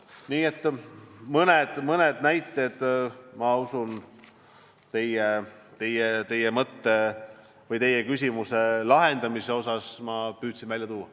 Nii et mõne näite teie küsimusele vastamiseks ma püüdsin välja tuua.